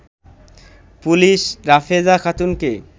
police Rafeza খাতুনকে